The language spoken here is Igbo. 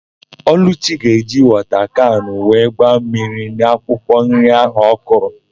Ọlụchi ga-eji wọta kanụ wee gbaa mmiri n'akwụkwọ nri áhụ̀ ọ kọrọ.